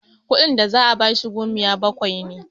kudin da za a bashi gomiya bakwai ne